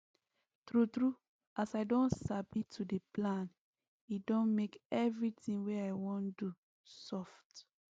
true true as i don sabi to dey plan e don make everything wey i wan do soft